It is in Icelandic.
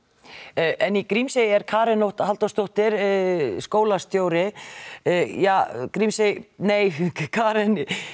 en í Grímsey er Karen Nótt Halldórsdóttir skólastjóri jah Grímsey nei Karen